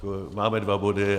Máme dva body.